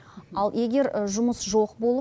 ал егер жұмыс жоқ болып